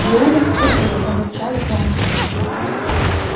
желудок схватило пробурчал рон